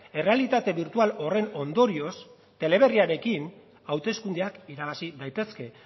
errealitate birtual horren ondorioz teleberriarekin hauteskundeak irabazi daitezke